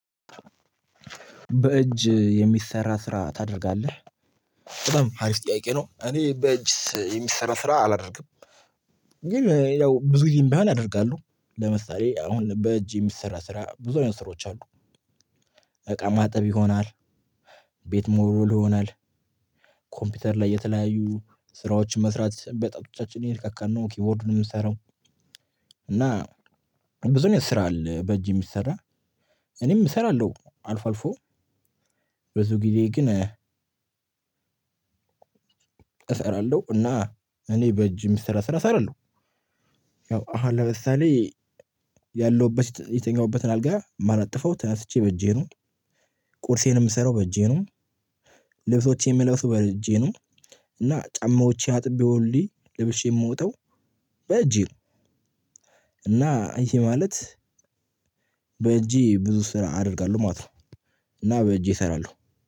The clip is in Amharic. በእጅ የሚሰራ ስራ ታደርጋለህ? በጣም አሪፍ ጥያቄ ነው እኔ በእጅ የሚሰራ ስራ አላደርግም። ግን ያው ብዙ ይሄን ባህል አደርጋለሁ ለምሳሌ አሁን በእጅ የሚሰራ ስራ ብዙ አይነት ስሮች አሉ። እቃ ማጠብ ይሆናል፣ ቤት መወልወል ይሆናል። ኮምፒውተር ላይ የተለያዩ ስራዎችን መስራት በጣቶቻችን እየነካካን ነው ኪቦርዱን የምንሰራው። እና ብዙ ስራ አለ በጅ የሚሰራ። እኔም እሰራለሁ አልፎ አልፎ ብዙ ጊዜ ግን። እሰራለሁ እና እኔ በእጅ የሚሰራ ስራ ሰራለው። ያው አሁን ለምሳሌ ያለውበት የተኛውበትን አልጋ ማነጥፈው ተነስቼ በእጄ ነው፣ ቁርሴን የምሰራው በእጄ ነው፣ ልብሶቼን የምለብሰው በእጄ ነው። እና ጫማዎቼ አጥቤ ሁሌ ለብሼ የምወጣው በእጄ ነው። እና ይሄ ማለት በእጄ ብዙ ስራ አደርጋለሁ ማለት ነው። እና በእጄ እሰራለሁ።